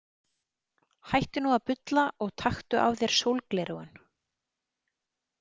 Hættu nú að bulla og taktu af þér sólgleraugun.